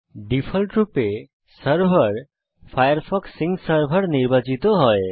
ডিফল্টরূপে server Firefox sync server নির্বাচিত হয়